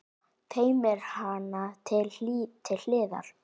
Teymir hana til hliðar.